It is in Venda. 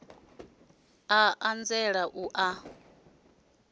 a a nzela u a